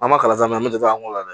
An ma kalan min na an bɛ dɔ an la